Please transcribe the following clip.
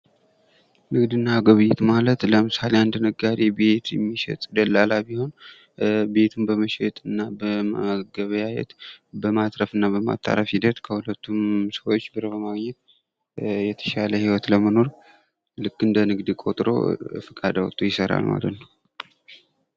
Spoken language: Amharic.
ንግድ እና ግብይት ማለት ለምሳሌ አንድ ነጋዴ ቤት የሚሸጥ ደላላ ቢሆን ቤቱን በመሸጥ እና በመገበያየት በማትረፍ እና በማጣራት ሂደት ከሁለቱም ሰዎች ብር በማግኘት የተሻለ ኑሮ ለመኖር ልክ እንደ ንግድ ቆጥረው ፍቃድ አውጥተው ይሰራሉ ማለት ነው።